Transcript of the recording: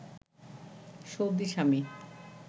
Saudi Swami